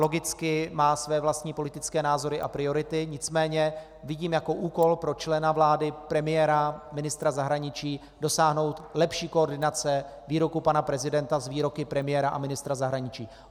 Logicky má své vlastní politické názory a priority, nicméně vidím jako úkol pro člena vlády, premiéra, ministra zahraničí dosáhnout lepší koordinace výroků pana prezidenta s výroky premiéra a ministra zahraničí.